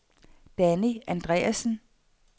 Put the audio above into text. Danny Andreassen